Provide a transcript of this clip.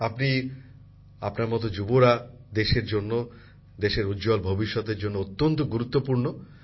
আপনি আপনার মত যুবরা দেশের জন্য দেশের উজ্জ্বল ভবিষ্যতের জন্য অন্ত্যত গুরুত্বপূর্ণ